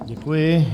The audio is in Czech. Děkuji.